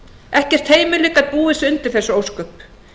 ekkert heimili gat búið sig undir þessi ósköp